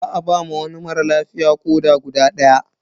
Za ba wa wani mara lafiya koɗa na guda daya.